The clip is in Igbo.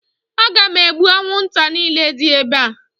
Aga m egbu anwụnta niile dị ebe a